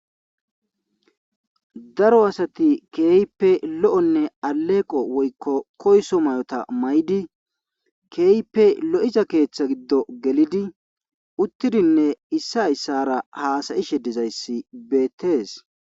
daro asati keype lo7onne aleeqo woykko koyso may7ota may7di keeype lo7iza keeththa giddo gelidi uttidinne issa hayssara haasayi she dizayssi beettees